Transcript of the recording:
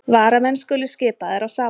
Varamenn skulu skipaðir á sama hátt